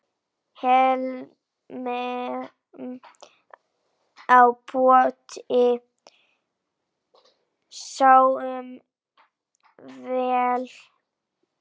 Hlemm á potti sáum vér.